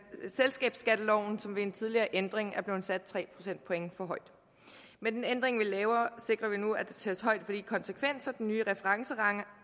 og selskabsskatteloven som ved en tidligere ændring er blevet sat tre procentpoint for højt med den ændring vi laver sikrer vi nu at der tages højde for de konsekvenser den nye referencerente